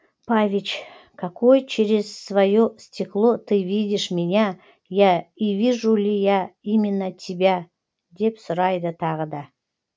павич какой через свое стекло ты видишь меня я и вижу ли я именно тебя деп сұрайды тағы да